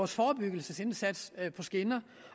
forebyggelsesindsats sat på skinner